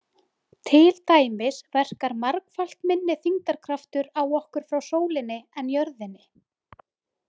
Til dæmis verkar margfalt minni þyngdarkraftur á okkur frá sólinni en jörðinni.